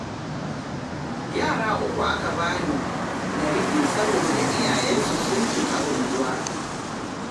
Yara uku aka ba ni na riƙe saboda iyayensu sun fita unguwa